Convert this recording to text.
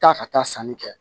Taa ka taa sanni kɛ